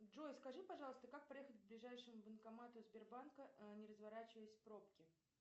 джой скажи пожалуйста как проехать к ближайшему банкомату сбербанка не разворачиваясь в пробке